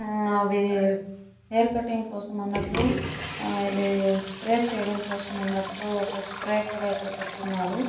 ఆ అవి hair cutting కోసం అన్నట్టు ఆహ్ స్ప్రే కోసం అన్నట్టు ఒక స్ప్రే కూడా పెట్టిఉన్నారు.